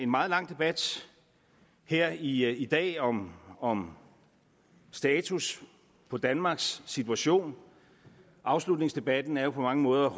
meget lang debat her i i dag om om status på danmarks situation afslutningsdebatten er jo på mange måder